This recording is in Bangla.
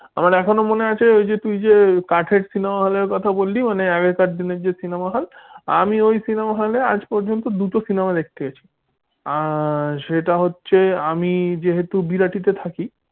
আমার এখনো মনে আছে তুই যে ওই যে আগের কাঠের cinema হলের কথা বললি কাঠের cinema hall আমি ওই cinema hall আজ পর্যন্ত দুটো cinema দেখতে গেছি আর সেটা হচ্ছে আমি যেহেতু বিরাটি তে থাকি।